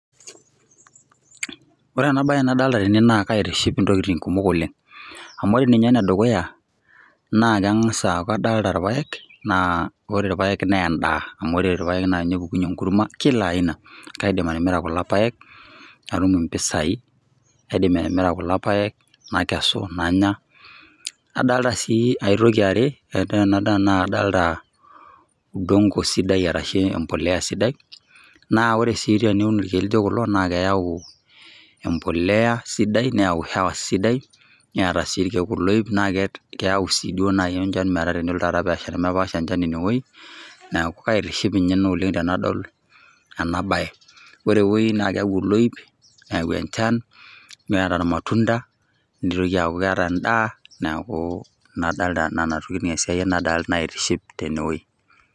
Ore ena bae nadolta tene naa kaitushi intokiting kumok oleng',amu ore ninye enedukuya naa keng'as aku kadolta irpaek, naa ore irpaek naa endaa. Amu ore irpaek na nye epukunye enkurma, kila aina. Kaidim atimira kulo paek, natum impisai. Kaidim atimira kulo paek, nakesu nanya. Adalta si aitoki eare, na kadalta udongo sidai arashu empolea sidai, naa ore si teniun irkeek lijo kulo, na keeu empolea sidai, neeu hewa sidai, neeta si irkeek oloip. Na keeu si duo nai enchan metaa tenelo taata pesha nemepaash enchan inewoi, neeku kaitiship inye ena oleng' tenadol enabae. Ore ewoi na keeku oloip, neeu enchan, neeta irmatunda, nitoki aku keeta endaa, neeku ina adalta nena tokiting esiai naitiship tenewoi.